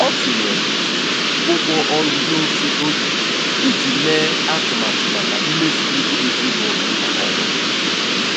Ọ tụnyere ụgwọ ọrụ n'ofe oge iji mee atụmatụ maka mmefu ego ezinụlọ kwa ọnwa.